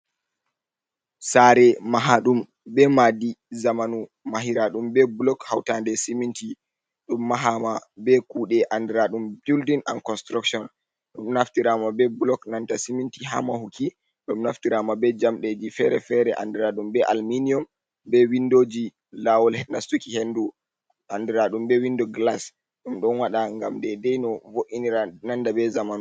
Sare mahaɗum be madi zamanu, mahira ɗum be blok hautande siminti, ɗum mahama be kuɗe andiraɗum buldin and construction, ɗum naftirama be blok nanta siminti ha mahuki, ɗum naftirama be jamdejit fere-fere andira ɗum be alminium, be windoji, lawol nastuki hendu andiraɗum be windo glas, ɗum ɗon waɗa ngam de dai no vo’inira nanda be zamanu.